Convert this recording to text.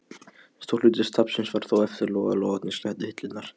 Stór hluti safnsins var þó eftir þegar logarnir sleiktu hillurnar.